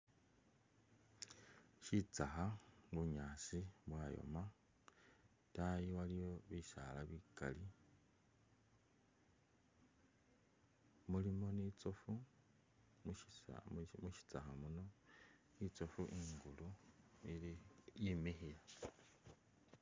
Shitsakha, bunyasi bwayoma idayi waliyo bisaala bigaali mulimo ni tsofu mushitsakha muno itsofu ingulu ili imikhile.